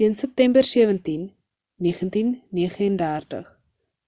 teen september 17 1939